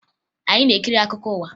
Anyị na-ekiri akụkọ ụwa